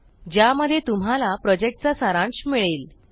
ज्यामध्ये तुम्हाला प्रॉजेक्टचा सारांश मिळेल